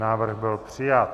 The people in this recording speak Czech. Návrh byl přijat.